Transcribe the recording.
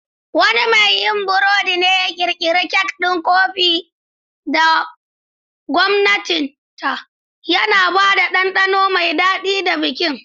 Wani mai yin burodi ne ya ƙirƙira kek ɗin kofi da gwaninta, yana ba da ɗanɗano mai daɗi ga bikin.